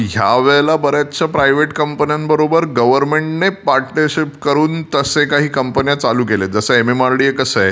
पण ह्या वेळेला बर् याचशा प्रायव्हेट कंपन्यांबरोबर गव्हर्नमेंटने पार्टनरशिप करून तसे काही कोमपण्या चालू केल्या आहेत जसे एमएमआरडीए कसं आहे.